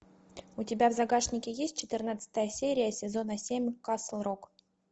у тебя в загашнике есть четырнадцатая серия сезона семь касл рок